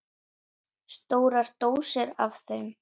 Stórar dósir af þeim.